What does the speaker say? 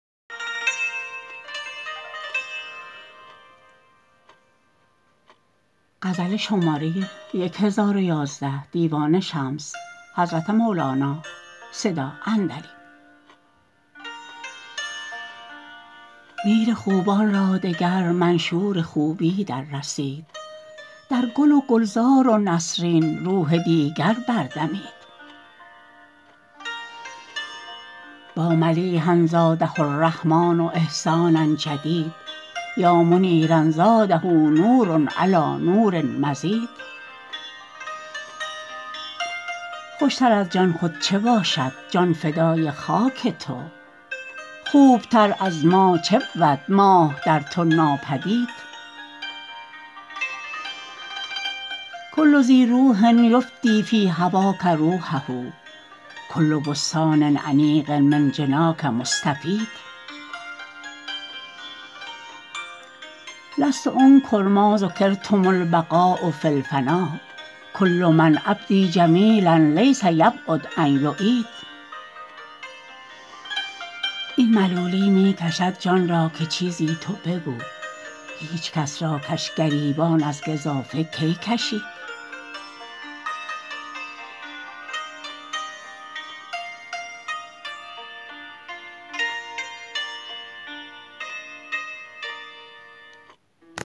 میر خوبان را دگر منشور خوبی دررسید در گل و گلزار و نسرین روح دیگر بردمید با ملیحا زاده الرحمن احسانا جدید یا منیرا زاده نور علی نور مزید خوشتر از جان خود چه باشد جان فدای خاک تو خوبتر از ماه چه بود ماه در تو ناپدید کل ذی روح یفدی فی هواک روحه کل بستان انیق من جناک مستفید لست انکر ما ذکرتم البقاء فی الفنا کل من ابدی جمیلا لیس یبعد ان یعید این ملولی می کشد جان را که چیزی تو بگو هیچ کس را کس گریبان از گزافه کی کشید